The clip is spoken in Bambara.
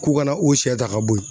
K'u ka na o siyɛ ta ka bɔ yen